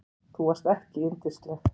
Þú varst ekki yndisleg.